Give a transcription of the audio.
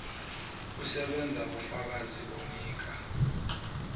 usebenza kufakazi onika